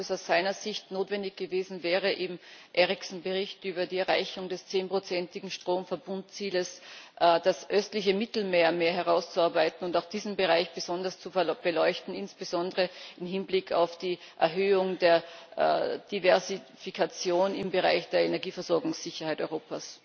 Wäre es aus Ihrer Sicht notwendig gewesen, im Bericht Eriksson über die Erreichung des zehnprozentigen Stromverbundziels das östliche Mittelmeer mehr herauszuarbeiten und auch diesen Bereich besonders zu beleuchten, insbesondere im Hinblick auf die Erhöhung der Diversifikation im Bereich der Energieversorgungssicherheit Europas?